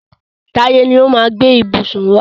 Táyé ni ó máa gbé ìbùsùn wá.